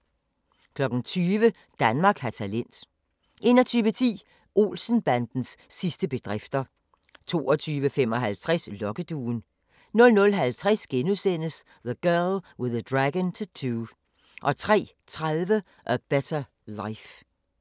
20:00: Danmark har talent 21:10: Olsen-bandens sidste bedrifter 22:55: Lokkeduen 00:50: The Girl with the Dragon Tattoo * 03:30: A Better Life